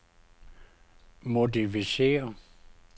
modificér